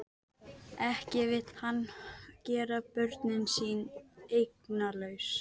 Ekki vill hann gera börnin sín eignalaus.